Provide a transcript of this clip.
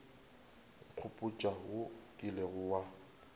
nkgopotša wo o kilego wa